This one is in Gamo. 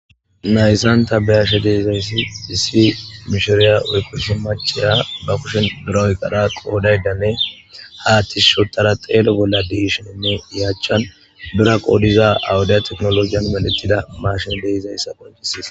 Haysanta beyashe deizayssi disii mishooriya woykkoshi maceya ba kushin diroyqara qoodaydanne haattis shotara xeele bolla diishennne yachchan bura qoodiza awudiya teknologiyan meletida maashen deizayssa qoncisiis